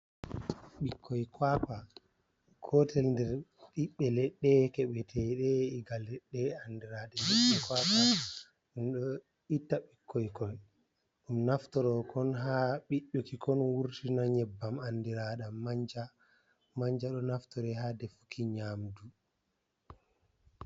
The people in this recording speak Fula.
Ɓikkoi kwakwa, gotel nder ɓiɓbe ledɗe keɓe teɗe iga ledɗe andiraɗa jee kwakwa. Ɗum ɗo itta ɓikkoikoi ɗum naftorokon ha ɓiɗduki kon wurtina nyebbam andiraɗam manja, manja ɗo naftore ha defuki nyamdu.